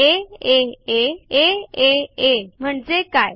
आ आ म्हणजे काय